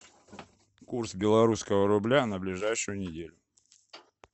курс белорусского рубля на ближайшую неделю